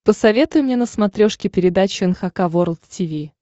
посоветуй мне на смотрешке передачу эн эйч кей волд ти ви